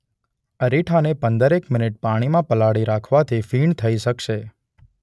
અરીઠાને પંદરેક મિનિટ પાણીમાં પલાળી રાખવાથી ફીણ થઈ શકશે.